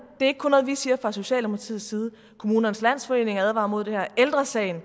er ikke kun noget vi siger fra socialdemokratiets side kommunernes landsforening advarer mod det her ældre sagen